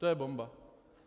To je bomba.